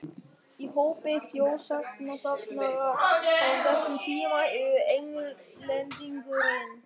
Í hópi þjóðsagnasafnara frá þessum tíma eru Englendingurinn